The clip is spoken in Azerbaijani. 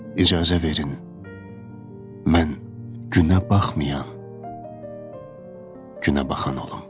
İcazə verin mən günəbaxmayan, günəbaxan olum.